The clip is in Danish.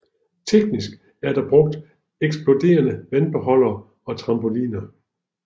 Teknisk er der brugt eksploderende vandbeholdere og trampoliner